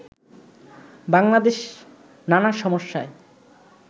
বাংলাদেশ নানা সমস্যায়